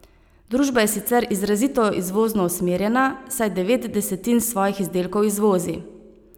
Družba je sicer izrazito izvozno usmerjena, saj devet desetin svojih izdelkov izvozi.